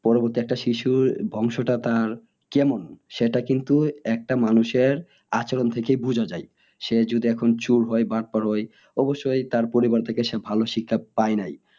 পরবর্তীর একটা শিশুর বংশটা তার কেমন সেটা কিন্তু একটা মানুষের আচরন থেকে বোঝা যাই সে যদি এখন চোর হয় হয় অবশ্যই তার পরিবার থেকে সে ভালো শিক্ষা পায় নাই